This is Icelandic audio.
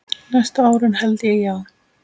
Næstu árin held ég, já.